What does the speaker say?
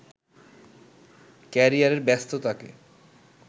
ক্যারিয়ারের ব্যস্ততাকে